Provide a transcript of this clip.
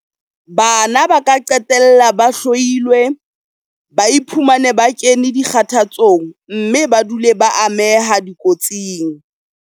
Bana ba ka qetella ba hloilwe, ba iphumane ba kene dikgathatsong mme ba dule ba ameha dikotsing.